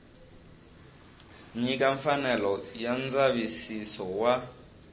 nyika mfanelo ya ndzavisiso wa